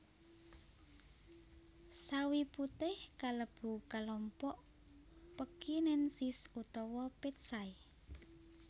Sawi putih kalebu kalompok pekinensis utawa petsai